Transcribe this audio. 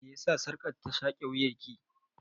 Me yasa sarƙar ta shaƙe wuyan ki?